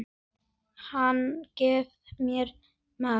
Hann gefur mér mat.